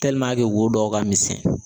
wo dɔw ka misɛn